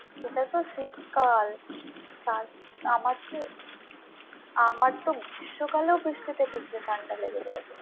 সেটা তো শীতকাল হ্যাঁ ওই আমার তো গ্রীষ্মকালেও বৃষ্টিতে ভিজলেও ঠান্ডা লেগে যায়।